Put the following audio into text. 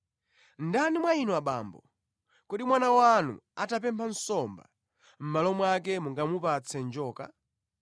“Ndani mwa inu abambo, kodi mwana wanu atapempha nsomba, mʼmalo mwake mungamupatse njoka?